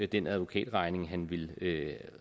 den advokatregning han ville